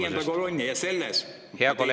Te loote viienda kolonni ja selles me teile edu ei soovi.